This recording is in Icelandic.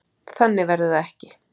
Þannig verður það ekki.